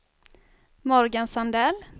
Morgan Sandell